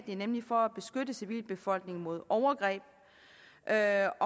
det er nemlig for at beskytte civilbefolkningen mod overgreb jeg er